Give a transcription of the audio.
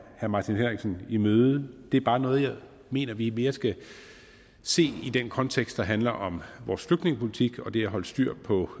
herre martin henriksen i møde det er bare noget jeg mener vi mere skal se i den kontekst der handler om vores flygtningepolitik og det at holde styr på